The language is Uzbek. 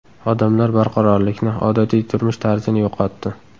Odamlar barqarorlikni, odatiy turmush tarzini yo‘qotdi.